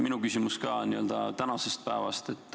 Minu küsimus on ka n-ö tänase päeva kohta.